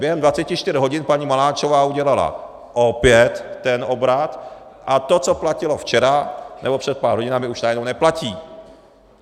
Během 24 hodin paní Maláčová udělal opět ten obrat a to, co platilo včera nebo před pár hodinami, už najednou neplatí.